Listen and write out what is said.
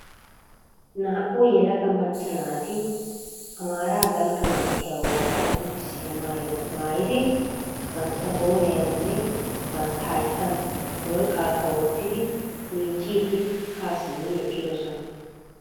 Naa"u yelaga macca naati amaara dalgga manttiya wogaa qonccissiya maayuwa maayidi bantta qooriyaanimne bantta hayittan worqqaakka wottidi miicciiddi ha simmidi eqqidosona.